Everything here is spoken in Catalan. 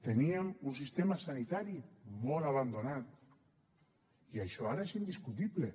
teníem un sistema sanitari molt abandonat i això ara és indiscutible